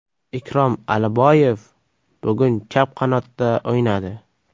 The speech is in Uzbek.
Ikrom Aliboyev bugun chap qanotda o‘ynadi.